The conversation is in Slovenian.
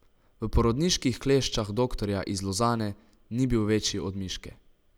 V porodniških kleščah doktorja iz Lozane ni bil večji od miške.